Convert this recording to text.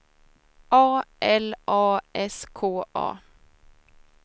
A L A S K A